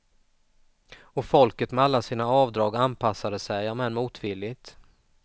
Och folket med alla sina avdrag anpassade sig, om än motvilligt.